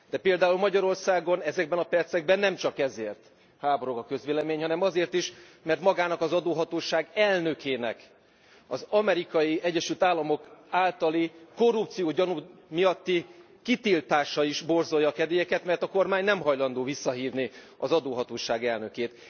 De például Magyarországon ezekben a percekben nem csak ezért háborog a közvélemény, hanem azért is mert magának az adóhatóság elnökének az Amerikai Egyesült Államok általi korrupciógyanú miatti kitiltása is borzolja a kedélyeket, mert a kormány nem hajlandó visszahívni az adóhatóság elnökét.